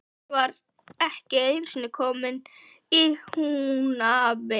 Hann var ekki einusinni kominn í Húnaver.